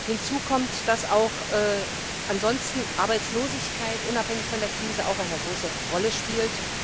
Hinzu kommt, dass auch ansonsten Arbeitslosigkeit, unabhängig von der Krise, eine große Rolle spielt.